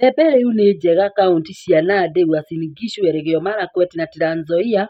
Mbembe rĩu nĩ njega kauntĩ cia Nandi, Uasin Gishu, Elgeyo Marakwet na Trans Nzoia